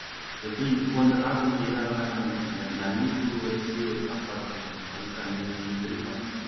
எப்படி இப்போ இந்த காலத்துல செய்யுறாங்களா என்னன்னு தெரியல இந்த அல்லிப்பூ வச்சு ஒரு சாப்பாடு செய்வாங்க பவித்ரா நீங்க உங்களுக்கு அது தெரியுமா அதுபத்தி